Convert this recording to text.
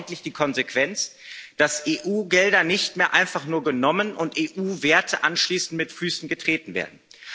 Wir brauchen endlich die Konsequenz, dass EU Gelder nicht mehr einfach nur genommen und EU Werte anschließend mit Füßen getreten werden.